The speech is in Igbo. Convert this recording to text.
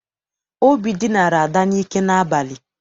Obi dinara Ada n'ike n'abalị.